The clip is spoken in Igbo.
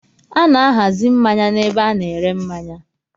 A na-ahazi mmanya n'ebe a na-ere mmanya.